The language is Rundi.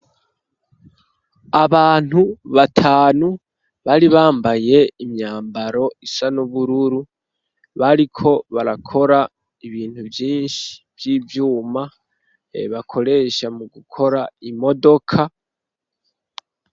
Abantu batanu bari bambaye imyambaro isa nubururu bariko barakora ibintu vyinshi vy'ivyuma bakoresha mu gukora imodoka.